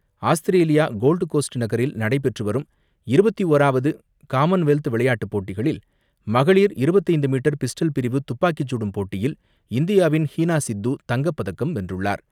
Australia Gold Coast நகரில் நடைபெற்றுவரும் இருபத்து ஓராவது காமன்வெல்த் விளையாட்டுப் போட்டிகளில், மகளிர் இருபத்து ஐந்து மீட்டர் பிஸ்டல் பிரிவு துப்பாக்கிச்சுடும் போட்டியில் இந்தியாவின் ஹீனா சித்து தங்கப்பதக்கம் வென்றுள்ளார்.